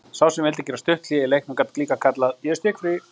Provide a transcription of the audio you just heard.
Sá sem vildi gera stutt hlé í leiknum gat líka kallað: Ég er stikkfrí.